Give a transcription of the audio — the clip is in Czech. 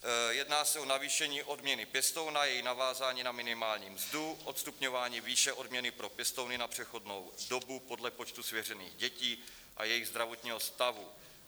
Jedná se o navýšení odměny pěstouna, její navázání na minimální mzdu, odstupňování výše odměny pro pěstouny na přechodnou dobu podle počtu svěřených dětí a jejich zdravotního stavu.